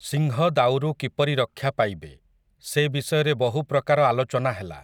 ସିଂହ ଦାଉରୁ କିପରି ରକ୍ଷା ପାଇବେ, ସେ ବିଷୟରେ ବହୁ ପ୍ରକାର ଆଲୋଚନା ହେଲା ।